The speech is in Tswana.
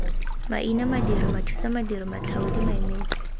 maina madiri mathusamadiri matlhaodi maemedi